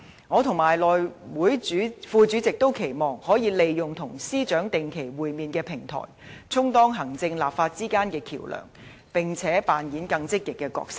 我和內務委員會副主席均期望可以利用與司長定期會面的平台，充當行政立法之間的橋樑，並且扮演更積極的角色。